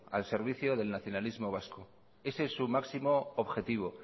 al servicio del nacionalismo vasco ese es su máximo objetivo